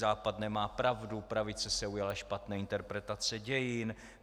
Západ nemá pravdu, pravice se ujala špatné interpretace dějin.